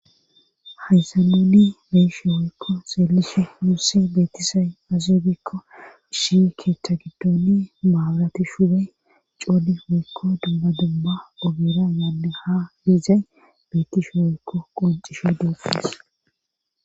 Hayssa nuni beishe woykko xeelishe musi beetisay azubikko ishi keeththa giddoni maabarati shube codi woykko dumma dumma ogera yaanne ha liizay beetishe woykko qoncishe doofees.